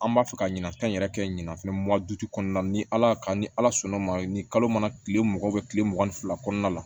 An b'a fɛ ka ɲinatɔn yɛrɛ kɛ ɲinafɛn kɔnɔna na ni ala y'a ni ala sɔnn'o ma ni kalo mana kile mugan tile mugan ni fila kɔnɔna la